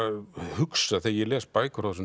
hugsa þegar ég les bækur frá þessum